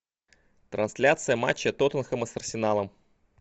трансляция матча тоттенхэма с арсеналом